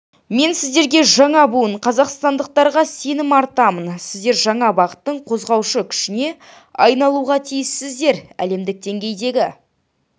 мен сіздерге жаңа буын қазақстандықтарға сенім артамын сіздер жаңа бағыттың қозғаушы күшіне айналуға тиіссіздер әлемдік деңгейдегі